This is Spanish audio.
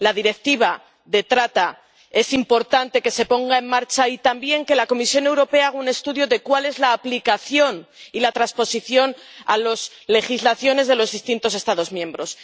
La Directiva sobre la trata es importante que se ponga en marcha, y también que la Comisión Europea haga un estudio de la aplicación y la transposición a las legislaciones de los distintos Estados miembros.